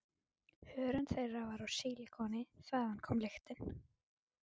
Hörund þeirra var úr sílikoni- þaðan kom lyktin.